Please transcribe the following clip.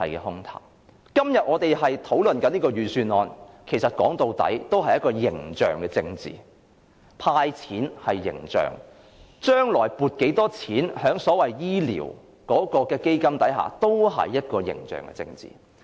我們今天討論這份預算案，其實說到底也只是一種形象政治，無論"派錢"或將來向醫療基金撥款多少，均是形象政治。